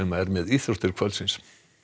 er með íþróttir kvöldsins